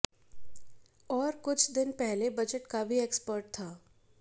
और कुछ दिन पहले बजट का भी एक्सपर्ट था